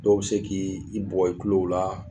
Dɔw bɛ se k' i bugɔ i tulo la.